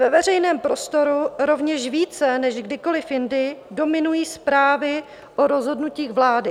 Ve veřejném prostoru rovněž více než kdykoliv jindy dominují zprávy o rozhodnutích vlády.